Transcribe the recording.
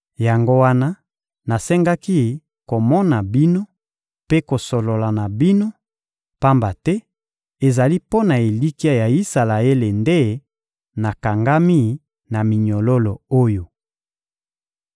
Yango wana nasengaki komona bino mpe kosolola na bino, pamba te ezali mpo na elikya ya Isalaele nde nakangami na minyololo oyo.